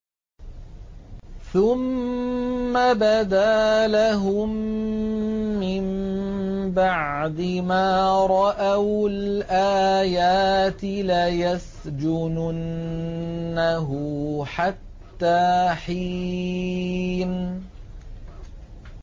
ثُمَّ بَدَا لَهُم مِّن بَعْدِ مَا رَأَوُا الْآيَاتِ لَيَسْجُنُنَّهُ حَتَّىٰ حِينٍ